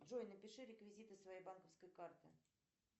джой напиши реквизиты своей банковской карты